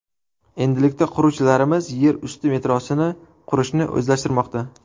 Endilikda quruvchilarimiz yer usti metrosini qurishni o‘zlashtirmoqda.